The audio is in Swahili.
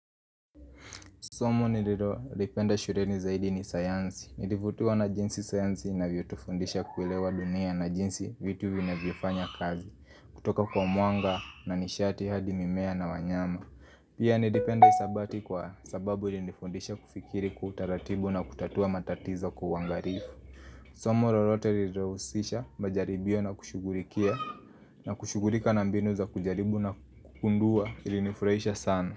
Somo nililolipenda shuleni zaidi ni sayansi, nilivutiwa na jinsi sayansi inavyotufundisha kuelewa dunia na jinsi vitu vinavyofanya kazi kutoka kwa mwanga na nishati hadi mimea na wanyama Pia nilipenda hisabati kwa sababu ilifundisha kufikiri kwa utaratibu na kutatua matatizo kwa ungalifu Somo lolote lililohusisha majaribio na kushughulikia na kushughulika na mbinu za kujaribu na kugundua ilinifurahisha sana.